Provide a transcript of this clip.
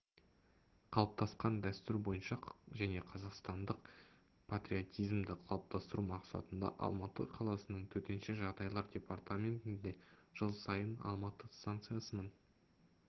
қалыптасқан дәстүр бойынша және қазақстандық патриотизмді қылыптастыру мақсатында алматы қаласының төтенше жағдайлар департаментінде жылсайын алматы станциясының